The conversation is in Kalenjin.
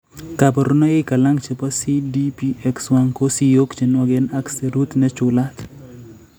Kaborunoik alak chebo CDPX1 ko siyok chenwoken ak serut nechulat